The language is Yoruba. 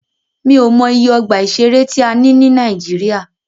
Mí ò mọ iye ọgbà ìṣẹ̀rẹ́ tí a ní ní Nàíjíríà.